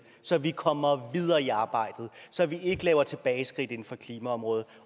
så vi kommer videre i arbejdet og så vi ikke laver tilbageskridt inden for klimaområdet